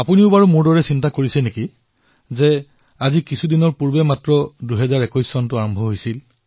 আপোনালোকেও মোৰ দৰে এইদৰে ভাবিছে নে যে কিছুদিন আগেয়েহে জানুৱাৰীৰ প্ৰথম দিনটো আৰম্ভ হৈছিল